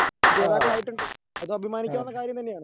ജേതാക്കളായിട്ടുണ്ട് അതഭിമാനിക്കാവുന്ന കാര്യം തന്നെയാണ്.